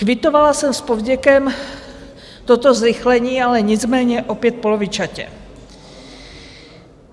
Kvitovala jsem s povděkem toto zrychlení, ale nicméně opět polovičatě.